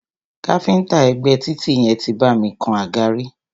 Káfíńńtà ẹ̀gbé títì yẹn tí bá mi kan àga rí.